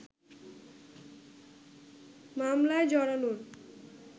মামলায় জড়ানোর